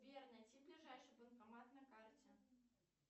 сбер найти ближайший банкомат на карте